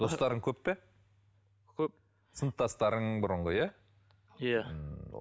достарың көп пе көп сыныптастарың бұрынғы иә иә